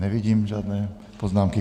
Nevidím žádné poznámky.